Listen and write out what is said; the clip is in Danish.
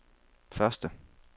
første